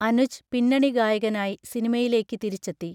അനുജ് പിന്നണി ഗായകനായി സിനിമയിലേക്ക് തിരിച്ചെത്തി.